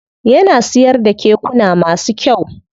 Yana siyar da kekuna masu kyau.